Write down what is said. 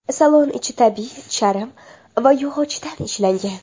Salon ichi tabiiy charm va yog‘ochdan ishlangan.